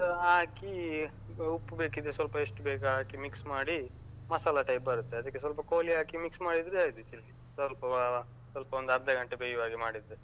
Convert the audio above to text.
ಹಾಕಿ, ಉಪ್ಪು ಬೇಕಿದ್ರೆ ಸ್ವಲ್ಪ ಎಷ್ಟು ಬೇಕು ಹಾಕಿ mix ಮಾಡಿ ಮಸಾಲ type ಬರುತ್ತೆ. ಅದಕ್ಕೆ ಸ್ವಲ್ಪ ಕೋಳಿ ಹಾಕಿ mix ಮಾಡಿದ್ರೆ ಆಯ್ತು chilli . ಸ್ವಲ್ಪ ಅಹ್ ಸ್ವಲ್ಪ ಒಂದು ಅರ್ಧ ಗಂಟೆ ಬೆಯ್ಯುವಾಗೆ ಮಾಡಿದ್ರೆ.